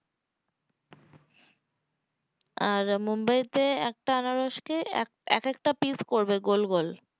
আর মুম্বাই তে আনারসকে এক একটা পিস্ করবে গোল গোল